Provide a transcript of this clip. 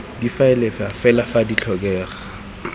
difaele fa fela di tlhokega